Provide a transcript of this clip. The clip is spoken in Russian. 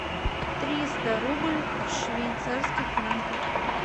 триста рубль в швейцарских франках